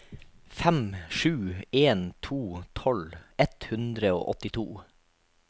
fem sju en to tolv ett hundre og åttito